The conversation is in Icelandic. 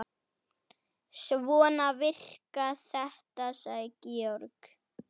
Svona virkar þetta, sagði Georg.